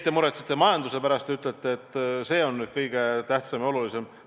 Te muretsete majanduse pärast, ütlete, et see on kõige tähtsam ja olulisem.